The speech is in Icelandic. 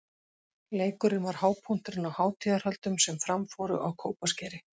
Leikurinn var hápunkturinn á hátíðarhöldum sem fram fóru á Kópaskeri.